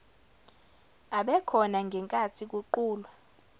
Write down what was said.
abekhona ngenkathi kuqulwa